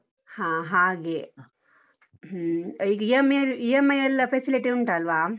ಹಾ ಹಾಗೆ, ಈಗ EMI EMI ಎಲ್ಲ facility ಉಂಟಲ್ವ?